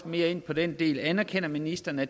mere ind på den del anerkender ministeren at